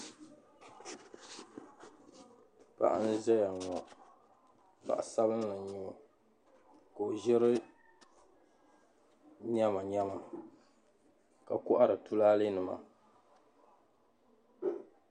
Paɣi n zaya ŋɔ paɣ'sabinli n nyɛo Ka o zirI nyɛmanyɛma ka kohari tulalɛnima